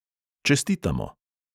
Čestitamo!